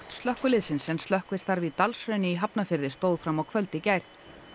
slökkviliðsins en slökkvistarf í Dalshrauni í Hafnarfirði stóð fram á kvöld í gær